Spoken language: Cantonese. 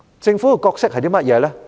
政府的角色是甚麼？